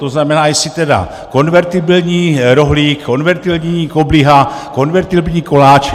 To znamená, jestli tedy konvertibilní rohlík, konvertibilní kobliha, konvertibilní koláč.